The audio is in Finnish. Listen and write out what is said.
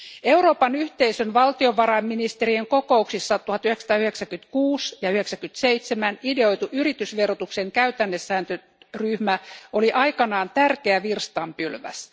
Euroopan yhteisön valtiovarainministerien kokouksissa 1996 ja 97 ideoitu yritysverotuksen käytännesääntöryhmä oli aikanaan tärkeä virstanpylväs.